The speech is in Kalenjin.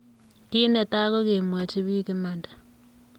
Kit ne tai ko kemwachi bik imanda.